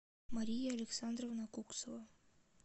мария александровна куксова